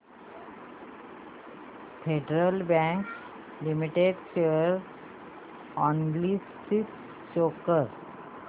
federal Bank Limited share analysis show कर